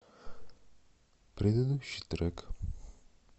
предыдущий трек